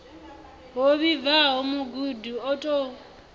ho vhibvaho mugudi o tou